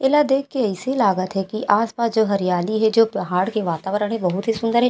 ऐला देख के अइसे लागत हेकी आस पास जो हरियाली हे जो पहाड़ के वातावरण हे बहुत ही सुन्दर हे ।--